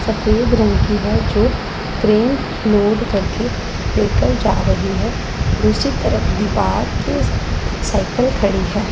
सफेद रंग की है जो फ्रेम क्रेन लोड करके लेकर जा रही है दूसरी तरफ दीवार के साइकिल खड़ी है।